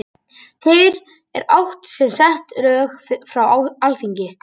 þar er átt við sett lög frá alþingi